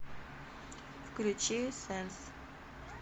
включи сэнс